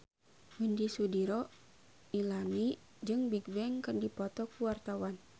Widy Soediro Nichlany jeung Bigbang keur dipoto ku wartawan